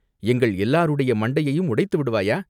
"எங்கள் எல்லாருடைய மண்டையையும் உடைத்து விடுவாயா?